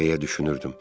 Deyə düşünürdüm.